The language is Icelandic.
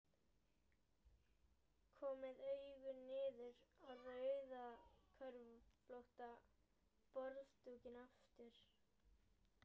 Kom með augun niður á rauðköflóttan borðdúkinn aftur.